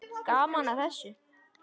Gaman að þessu.